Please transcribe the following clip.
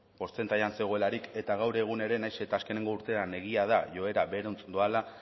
portzentaian zegoelarik eta gaur egun ere nahiz eta azkeneko urtean egia da joera berantz doala